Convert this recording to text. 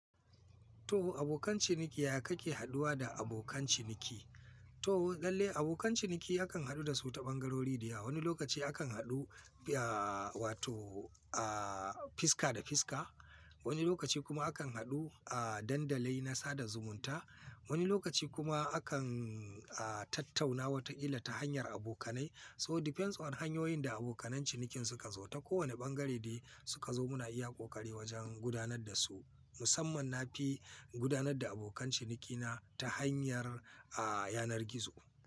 To abokan ciniki ya kake haduwa da abokan ciniki? To lalle abokan ciniki akan haɗu da su ta ɓangarori da yawa, wani lokaci akan haɗu, ahhh wato ahhh fiska da fiska, wani lokaci kuma akan haɗu ahhh Dandalin na sada zumunta, wani lokaci kuma akan ahhh tattauna wata kila ta hanyar abokanai. So depends on hanyoyin da abokan cinikin suka zo, ta kowane ɓangare dai suka zo muna iya ƙoƙari wajen gudanar da su. Musamman na fi gudanar da abokan cinikina ta hanyar ahhh yanar gizo.